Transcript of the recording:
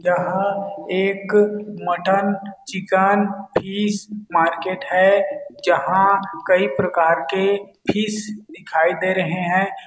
यह एक mutton chicken fish market है जहाँ कई प्रकार के फिश दिखाई दे रहै है।